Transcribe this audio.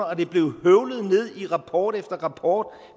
og det blev høvlet ned i rapport efter rapport